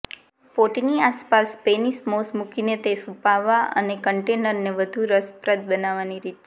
પોટની આસપાસ Spanish moss મુકીને તે છુપાવવા અને કન્ટેનરને વધુ રસપ્રદ બનાવવાની રીત છે